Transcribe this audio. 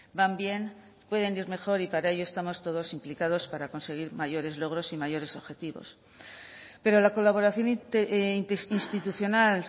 van bien pueden ir mejor y para ello estamos todos implicados para conseguir mayores logros y mayores objetivos pero la colaboración interinstitucional